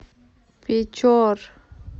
печор